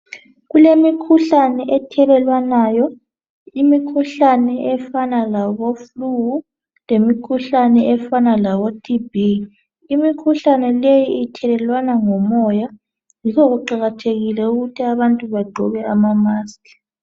Kulemikhuhlane ethelelwanayo. Imikhuhlane efana labo "flu",lemikhuhlane efana labo "TB".Imikhuhlane leyi ithelelwana ngomoya yikho kuqakathekile ukuthi abantu bagqoke ama"mask"